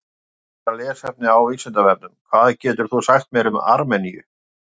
Frekara lesefni á Vísindavefnum: Hvað getur þú sagt mér um Armeníu?